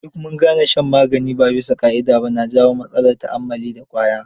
Duk mun gane shan magani ba bisa ƙa'ida ba na janyo matsalar ta'ammali da ƙwaya.